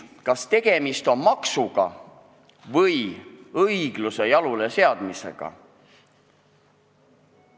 Kas tegemist on maksuga või õigluse jaluleseadmisega?